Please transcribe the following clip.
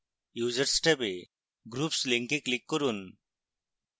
users ট্যাবে groups link click করুন